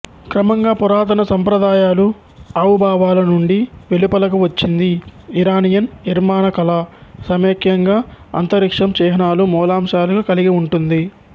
క్రమంగా పురాతన సంప్రదాయాలు అవుభవాల నుండి వెలుపలకు వచ్చింది ఇరానియన్ నిర్మాణకళ సమైక్యంగా అంతరిక్షం చిహ్నాలు మూలాంశాలుగా కలిగి ఉంటుంది